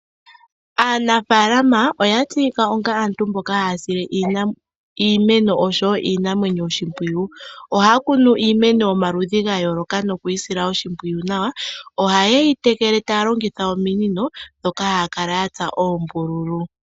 Aanafaalama oya tseyika onga aantu mboka haya sile iimeno osho woo iinamwenyo oshimpwiyu. Ohaya kunu iimeno yomaludhi gayooloka nokuyi sila oshimpwiyu nawa. Ohaye yi tekele taya longitha ominino ndhoka haya kala ya tsa oombululu.